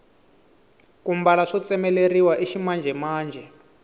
ku mbala swo tsemeleriwa i ximanjhemanjhe